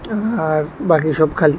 আর বাকি সব খালি।